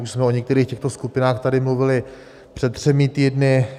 Už jsme o některých těchto skupinách tady mluvili před třemi týdny.